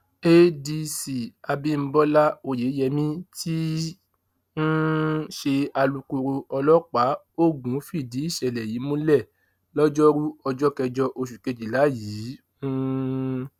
adc abimodá oyeyèmí tí í um ṣe alūkkoro ọlọpàá ogun fìdí ìṣẹlẹ yìí múlẹ lọjọrùú ọjọ kẹjọ oṣù kejìlá yìí um